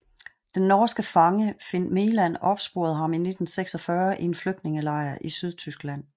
Den norske fange Finn Meland opsporede ham i 1946 i en flygtningelejr i Sydtyskland